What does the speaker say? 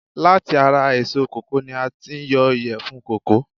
Láti ara èso kòkó ni a tí yọ ìyèfun kòkó